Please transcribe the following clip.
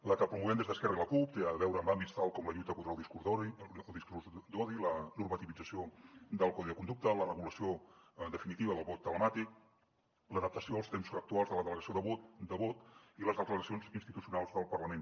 la que promovem des d’esquerra i la cup té a veure amb àmbits tals com la lluita contra el discurs d’odi la normativització del codi de conducta la regulació definitiva del vot telemàtic l’adaptació als temps actuals de la delegació de vot i les declaracions institucionals del parlament